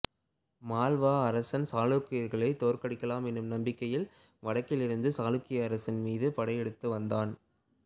மால்வா அரசன் சாளுக்கியர்களைத் தோற்கடிக்கலாம் என்னும் நம்பிக்கையில் வடக்கில் இருந்து சாளுக்கிய அரசின் மீது படையெடுத்து வந்தான்